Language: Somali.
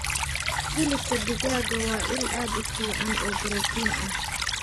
Hilibka digaaga waa il aad u fiican oo borotiin ah.